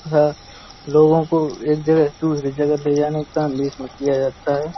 तथा लोगों को एक जगह से दूसरे जगह ले जाने काम भी इसमें किया जाता है।